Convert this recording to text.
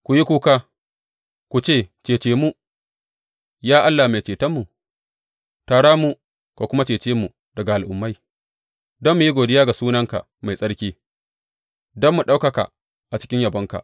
Ku yi kuka, ku ce, Cece mu, ya Allah Mai Cetonmu; tara mu ka kuma cece mu daga al’ummai, don mu yi godiya ga sunanka mai tsarki, don mu ɗaukaka a cikin yabonka.